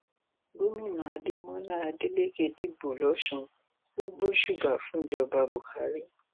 gomina adémọlá adéléke dìbò lòsùn ò gbósùbà fúnjọba buhari